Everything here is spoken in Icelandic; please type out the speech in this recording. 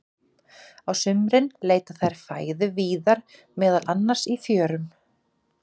Á sumrin leita þær fæðu víðar, meðal annars í fjörum.